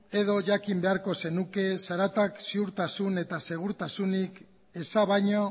edo jakin beharko zenuke zaratak ziurtasun eta segurtasunik eza baino